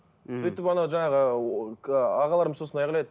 сөйтіп анау жаңағы ағаларымыз сосын айғайлайды